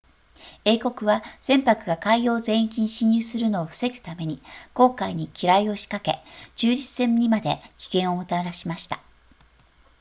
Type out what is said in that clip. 英国は船舶が海洋全域に進入するのを防ぐために公海に機雷を仕掛け中立船にまで危険をもたらしました